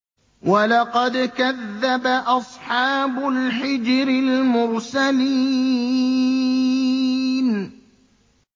وَلَقَدْ كَذَّبَ أَصْحَابُ الْحِجْرِ الْمُرْسَلِينَ